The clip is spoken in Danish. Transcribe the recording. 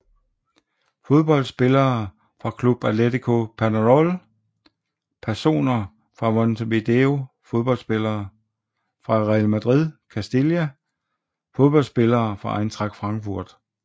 Fodboldspillere fra Club Atlético Peñarol Personer fra Montevideo Fodboldspillere fra Real Madrid Castilla Fodboldspillere fra Eintracht Frankfurt